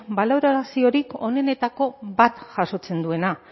baloraziorik onenetako bat jasotzen duena